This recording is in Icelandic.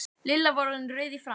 Lilla var orðin rauð í framan.